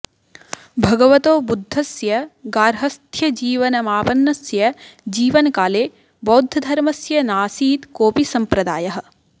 भगवतो बुद्धस्य गार्हस्थ्यजीवनमापन्नस्य जीवनकाले बौद्धधर्मस्य नासीत् कोऽपि सम्प्रदायः